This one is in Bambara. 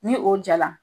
Ni o jala